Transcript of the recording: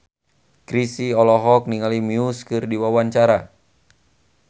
Chrisye olohok ningali Muse keur diwawancara